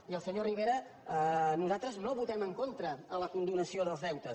i al senyor rivera nosaltres no votem en contra en la condonació dels deutes